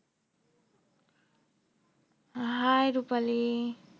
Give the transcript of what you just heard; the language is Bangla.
Hi রুপালী